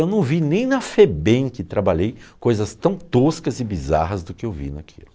Eu não vi nem na Febem que trabalhei coisas tão toscas e bizarras do que eu vi naquilo.